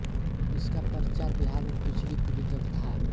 इसका प्रचार बिहार में पिछली पीढ़ी तक था